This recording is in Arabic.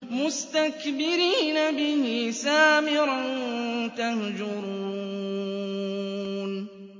مُسْتَكْبِرِينَ بِهِ سَامِرًا تَهْجُرُونَ